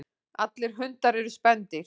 Allir hundar eru spendýr.